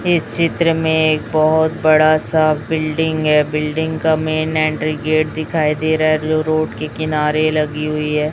इस चित्र में एक बहोत बड़ासा बिल्डिंग है बिल्डिंग का मेन एंट्री गेट दिखाई दे रहा है जो रोड के किनारे लगी हुई है।